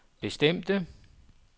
bestemte